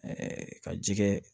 ka ji kɛ